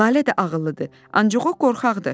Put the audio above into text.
Lalə də ağıllıdır, ancaq o qorxaqdır.